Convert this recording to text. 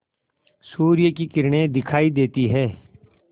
सूर्य की किरणें दिखाई देती हैं